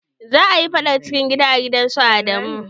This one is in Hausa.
Za a yi faɗar cikin gida a gidan su Adamu.